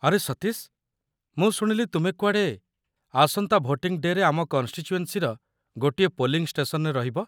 ଆରେ ସତୀଶ, ମୁଁ ଶୁଣିଲି ତୁମେ କୁଆଡ଼େ ଆସନ୍ତା ଭୋଟିଂ ଡେ'ରେ ଆମ କନ୍‌ଷ୍ଟିଚୁଏନ୍ସିର ଗୋଟିଏ ପୋଲିଂ ଷ୍ଟେସନରେ ରହିବ ।